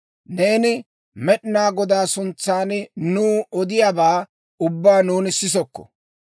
«Neeni Med'inaa Godaa suntsan nuw odiyaabaa ubbaa nuuni sisokko.